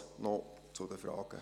Das noch zu den Fragen.